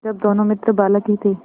जब दोनों मित्र बालक ही थे